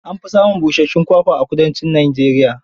An fi samun bishuyun kwakwa a kudancin Najeriya.